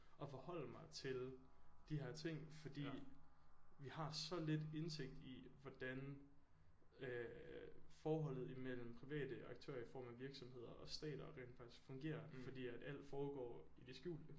At forholde mig til de her ting fordi vi har så lidt indsigt i hvordan øh forholdet imellem private aktører i form af virksomheder og stater rent faktisk fungerer fordi at alt foregår i det skjulte